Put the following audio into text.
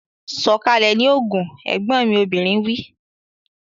Sọ̀kalẹ̀ ní Ogun! Ẹ̀gbọ́n mi obìnrin wí.